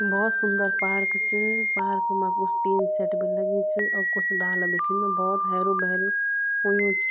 भौत सुन्दर पार्क च पार्क मा कुछ टिन शेट भी लगीं च और कुछ डाला भी छिन भोत हैरू भैरू हुयुं च।